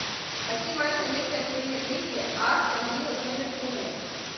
хотим матч английской премьер лиги астон вилла с ливерпулем